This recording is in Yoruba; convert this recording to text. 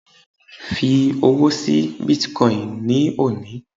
fi owó sí bitcoin ni oni